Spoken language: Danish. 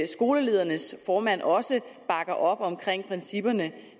skoleledernes formand også bakker op omkring principperne